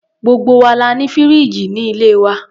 Gbogbo wa la ní fìríìjì ní ilé wa.